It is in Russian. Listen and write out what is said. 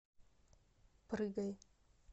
прыгай